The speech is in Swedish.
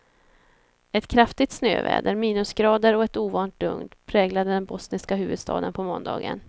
Ett kraftigt snöväder, minusgrader och ett ovant lugn präglade den bosniska huvudstaden på måndagen.